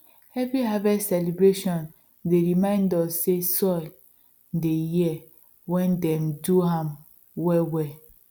every harvest celebration dey remind us say soil they hear when dem do am well well